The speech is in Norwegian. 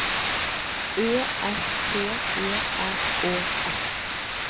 Ø S T E R Å S